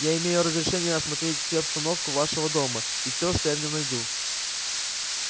я имею разрешение осмотреть все обстановку вашего дома и всё что я в нём найду